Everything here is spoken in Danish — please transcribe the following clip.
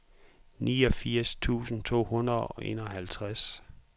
niogfirs tusind to hundrede og enoghalvtreds